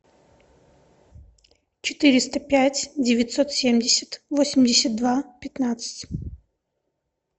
четыреста пять девятьсот семьдесят восемьдесят два пятнадцать